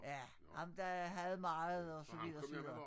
Ja ham der havde meget og så videre og så videre